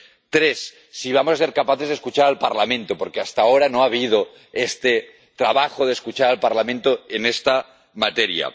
Tres si vamos a ser capaces de escuchar al Parlamento, porque hasta ahora no ha habido este trabajo de escuchar al Parlamento en esta materia.